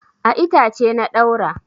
A itace na ɗaura.